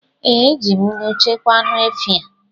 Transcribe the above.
Ee, eji m nnu chekwaa anụ efi a